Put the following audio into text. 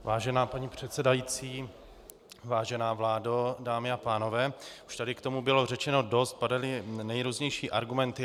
Vážená pane předsedající, vážená vládo, dámy a pánové, už tady k tomu bylo řečeno dost, padaly nejrůznější argumenty.